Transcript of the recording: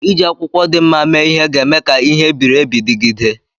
Iji akwụkwọ dị mma mee ihe ga-eme ka ihe e biri ebi dịgide.